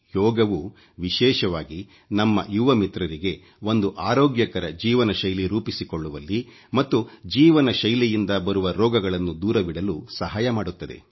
ಯೋಗವು ವಿಶೇಷವಾಗಿ ನಮ್ಮ ಯುವ ಮಿತ್ರರಿಗೆ ಒಂದು ಆರೋಗ್ಯಕರ ಜೀವನಶೈಲಿ ರೂಪಿಸಿಕೊಳ್ಳುವಲ್ಲಿ ಮತ್ತು ಜೀವನ ಶೈಲಿಯಿಂದ ಬರುವ ರೋಗಗಳನ್ನು ದೂರವಿಡಲು ಸಹಾಯ ಮಾಡುತ್ತದೆ